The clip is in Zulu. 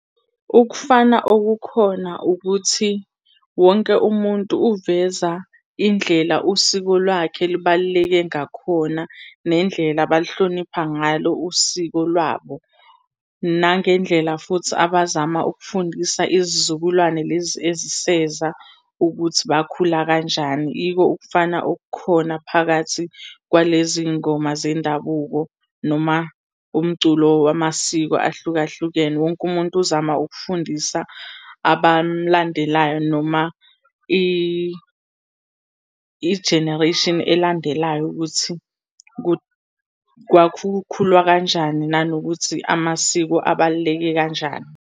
Ukufana okukhona ukuthi, wonke umuntu uveza indlela usiko lwakhe elibaluleke ngakhona nendlela abalihlonipha ngalo usiko lwabo, nangendlela futhi abazama ukufundisa izizukulwane lezi eziseza ukuthi bakhula kanjani. Yiko ukufana okukhona phakathi kwalezi iy'ngoma zendabuko noma umculo wamasiko ahlukahlukene. Wonke umuntu uzama ukufundisa abamlandelayo noma ijenereyishini elandelayo ukuthi kwakukhulwa kanjani, nanokuthi amasiko abaluleke kanjani.